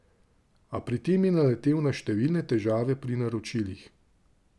A, pri tem je naletel na številne težave pri naročilih.